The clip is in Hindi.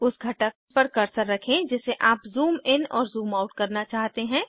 उस घटक पर कर्सर रखें जिसे आप ज़ूम इन और ज़ूम आउट करना चाहते हैं